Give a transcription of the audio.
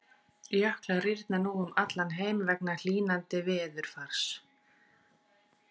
Jöklar rýrna nú um allan heim vegna hlýnandi veðurfars.